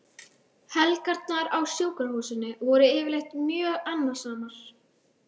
Helgarnar á sjúkrahúsinu voru yfirleitt mjög annasamar.